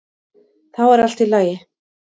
Þá er allt í lagi.